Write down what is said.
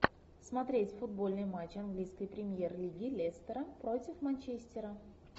смотреть футбольный матч английской премьер лиги лестера против манчестера